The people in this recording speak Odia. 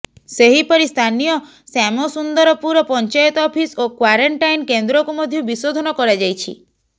ସେହିପରି ସ୍ଥାନୀୟ ଶ୍ୟାମସୁନ୍ଦରପୁର ପଞ୍ଚାୟତ ଅଫିସ ଓ କ୍ୱାରେଣ୍ଟାଇନ କେନ୍ଦ୍ରକୁ ମଧ୍ୟ ବିଶୋଧନ କରାଯାଇଛି